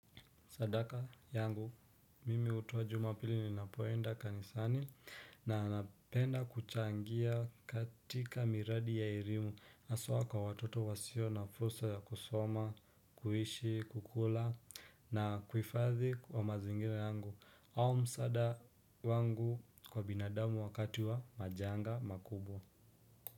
Sadaka yangu mimi hutoa jumapili ninapoenda kanisani na napenda kuchangia katika miradi ya elimu haswa kwa watoto wasio na fursa ya kusoma, kuishi, kukula na kuhifathi wa mazingira yangu au msaada wangu kwa binadamu wakati wa majanga makubwa.